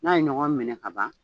N'a ye ɲɔgɔn minɛ kaban